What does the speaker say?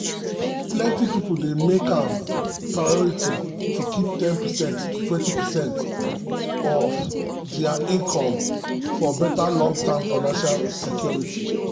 plenty people dey make am priority to keep ten percent to 20 percent of their income for better long-term financial security.